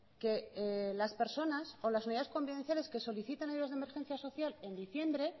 que las personas o las unidades convivenciales que soliciten ayudas de emergencia social en diciembre